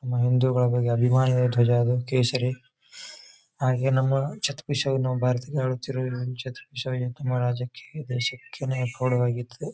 ನಮ್ಮ ಹಿಂದೂಗಳ ಬಗ್ಗೆ ಅಭಿಮಾನಿಗಳ ಧ್ವಜ ಅದು ಕೇಸರಿ ಹಾಗೆ ನಮ್ಮ ಛತ್ರಪತಿ ಶಿವಾಜಿ ಭಾರತದ ಚಿರಋಣಿ ಛತ್ರಪತಿ ಶಿವಾಜಿ ತಮ್ಮ ತಮ್ಮ ರಾಜ್ಯಕ್ಕೆ ತಮ್ಮ ದೇಶಕ್ಕೆ ನೇ